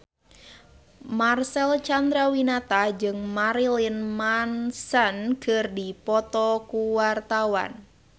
Marcel Chandrawinata jeung Marilyn Manson keur dipoto ku wartawan